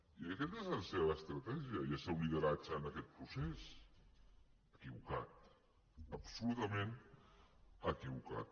i aquesta és la seva estratègia i el seu lideratge en aquest procés equivocat absolutament equivocat